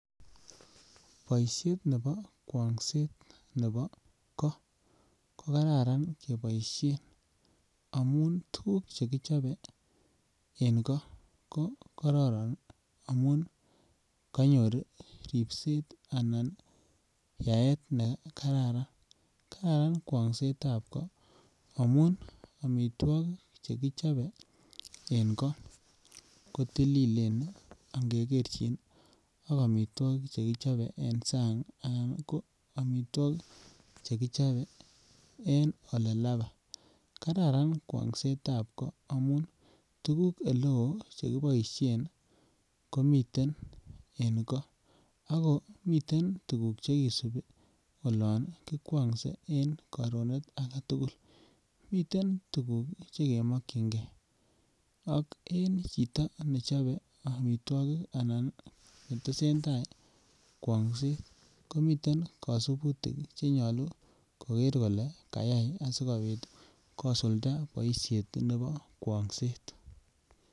Boishet nebo kwongset nebo go ko kararan keboishen amun tuguk che kichoben en go ko kororon amun konyor ripset anan yaet ne kararan. Kararan kwongsetab go amun omitwokik che kichobe en go ko tililen ii ingegerchin ak omitwokik che kichobe en sang' anan ko omitwokik che kichobe en ole lapai. Kararan kwongsetab go amun tuguk ele oo che kiboishen komiten en go ago miten tuguk che kisupi olon kikwongse en karonet agetugul. Miten tuguk che kemokyingee ak en chito nechobee omitwokik anan ne tesentai kwong'set, komiten kosuputik che nyoluu koger kole kayay asikopit kosulda boishet nebo kwong'set